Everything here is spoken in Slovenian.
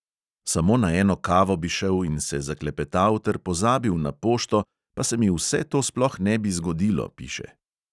Samo na eno kavo bi šel in se zaklepetal ter pozabil na pošto, pa se mi vse to sploh ne bi zgodilo, piše.